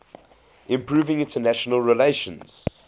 improving international relations